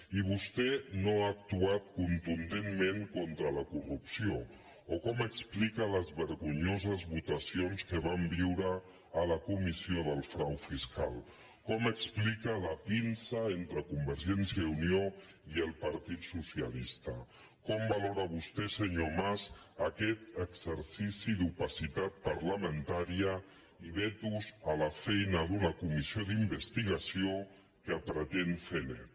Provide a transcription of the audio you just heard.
i vostè no ha actuat contundentment contra la corrupció o com explica les vergonyoses votacions que vam viure a la comissió del frau fiscal com explica la pinça entre convergència i unió i el partit socialista com valora vostè senyor mas aquest exercici d’opacitat parlamentària i vetos a la feina d’una comissió d’investigació que pretén fer net